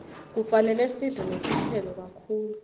kufanele sidle netitselo kakhulu